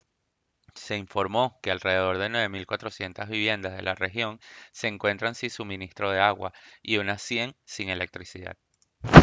se informó que alrededor de 9400 viviendas de la región se encuentran si suministro de agua y unas 100 sin electricidad